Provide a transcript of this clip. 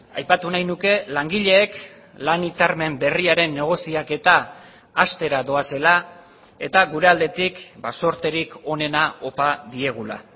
aipatu nahi nuke langileek lan hitzarmen berriaren negoziaketa hastera doazela eta gure aldetik zorterik onena opa diegula